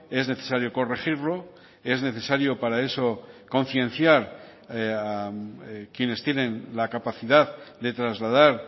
es necesario corregirlo es necesario para eso concienciar a quienes tienen la capacidad de trasladar